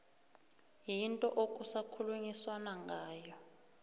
yinto okusakhulunyiswana ngayo